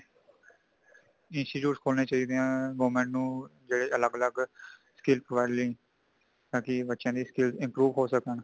Institute ਖੋਲਣੇ ਚਾਹੀਦੇ government ਨੂੰ ਜੇੜੇ ਅਲੱਗ ਅਲੱਗ skill provide ਲਈ ਤਾਂਕਿ ਬੱਚਿਆਂ ਦੀ skill improve ਹੋ ਸਕਨ